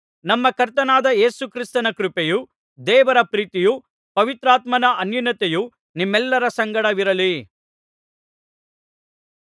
ನಮ್ಮ ಕರ್ತನಾದ ಯೇಸು ಕ್ರಿಸ್ತನ ಕೃಪೆಯೂ ದೇವರ ಪ್ರೀತಿಯೂ ಪವಿತ್ರಾತ್ಮನ ಅನ್ಯೋನ್ಯತೆಯೂ ನಿಮ್ಮೆಲ್ಲರ ಸಂಗಡವಿರಲಿ